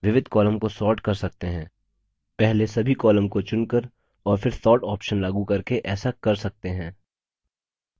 विविध columns को sort कर सकते है पहले सभी columns को चुनकर और फिर sort options लागू करके ऐसा कर सकते हैं